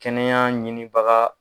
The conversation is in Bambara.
Kɛnɛya ɲinibaga